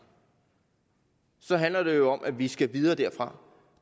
så handler det jo om at vi skal videre derfra